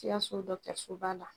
SIKASO la.